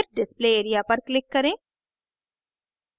फिर display area पर click करें